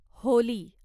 Holy